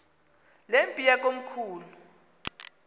le mpi yakomkhulu